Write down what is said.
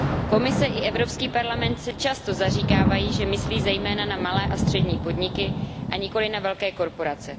Komise i Evropský parlament se často zaříkávají, že myslí zejména na malé a střední podniky, a nikoliv na velké korporace.